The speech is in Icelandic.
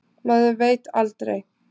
Maður veit aldrei.